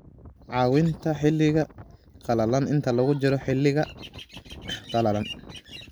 Caawinta Xiliga Qalalan Inta lagu jiro xilliga qalalan.